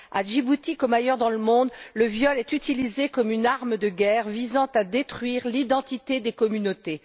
À Djibouti, comme ailleurs dans le monde, le viol est utilisé comme une arme de guerre visant à détruire l'identité des communautés.